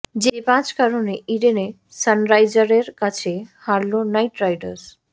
যে পাঁচ কারণে ইডেনে সানরাইজার্সের কাছে হারল নাইট রাইডার্স